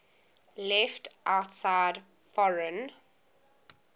left outside foreign